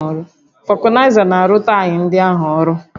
Vulcanizer na-arụ taya ndị ahụ ọrụ